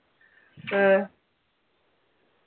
ഏർ